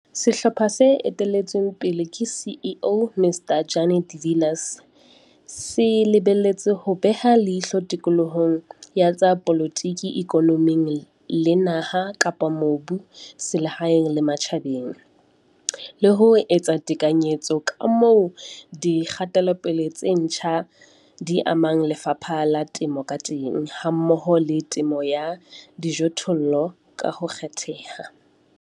Sehlopha se etelletsweng pele ke CEO, Mr Jannie de Villiers, se lebelletswe ho beha leihlo tikolohong ya tsa polotiki, ikonomi le naha-mobu selehaeng le matjhabeng, le ho etsa tekanyetso ya ka moo dikgatelopele tse ntjha di amang lefapha la temo ka teng hammoho le temo ya dijothollo ka ho kgetheha.